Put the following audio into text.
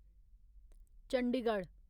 Chandigarh